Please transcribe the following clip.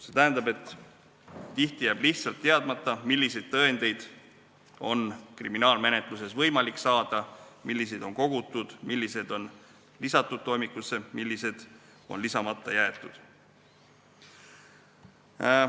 See tähendab, et tihti jääb lihtsalt teadmata, milliseid tõendeid on kriminaalmenetluses võimalik saada, milliseid on kogutud, millised on lisatud toimikusse ja millised on lisamata jäetud.